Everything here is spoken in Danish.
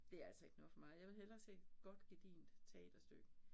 Det altså ikke noget for mig. Jeg vil hellere se et godt gedigent teaterstykke